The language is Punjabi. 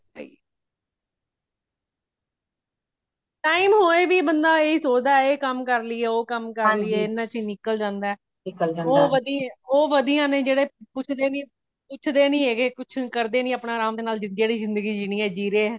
time ਹੋਏ ਵੀ ਬੰਦਾ ਇਹ ਸੋਚਦਾ ਵੇ ਇਹ ਕਮ ਕਰਲੀਯੇ ਉਹ ਕਮ ਕਰਲੀਏ ਇਹਨਾਂ ਵਿਚ ਜੀ ਨਿਕਲ ਜਾਂਦਾ ਹੈ ਉਹ ਵਦੀਆ ਨੇ ਜਿਹੜੇ ਉਠਦੇ ਨਹੀਂ ਹੈਗੇ ਕੁਛ ਕਰਦੇ ਨਹੀਂ ਆਪਣਾ ਆਰਾਮ ਨਾਲ ਜਿਹੜੀ ਜ਼ਿੰਦਗੀ ਜੀਨੀ ਹੈ ਜੀ ਰਹੇ ਨੇ